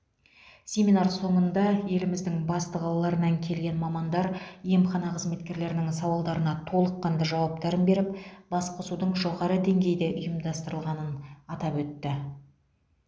семинар соңында еліміздің басты қалаларынан келген мамандар емхана қызметкерлерінің сауалдарына толыққанды жауаптарын беріп басқосудың жоғары деңгейде ұйымдастырылғанын атап өтті